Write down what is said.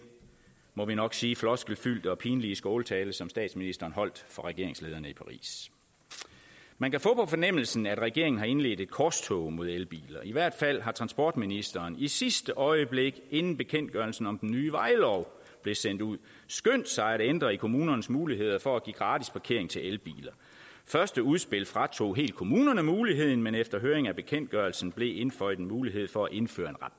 må vi nok sige floskelfyldte og pinlige skåltale som statsministeren holdt for regeringslederne i paris man kan få på fornemmelsen at regeringen har indledt et korstog mod elbiler i hvert fald har transportministeren i sidste øjeblik inden bekendtgørelsen om den nye vejlov blev sendt ud skyndt sig at ændre i kommunernes muligheder for at give gratis parkering til elbiler første udspil fratog helt kommunerne muligheden men efter høring af bekendtgørelsen blev der indføjet en mulighed for at indføre